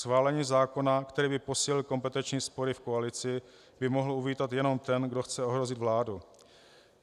Schválení zákona, který by posílil kompetenční spory v koalici, by mohl uvítat jenom ten, kdo chce ohrozit vládu.